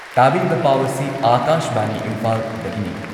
ꯇꯥꯕꯤꯔꯤꯕ ꯄꯥꯎ ꯑꯁꯤ ꯑꯥꯀꯥꯁꯕꯥꯅꯤ ꯏꯝꯐꯥꯜꯗꯒꯤꯅꯤ